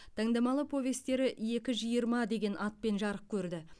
таңдамалы повестері екі жиырма деген атпен жарық көрді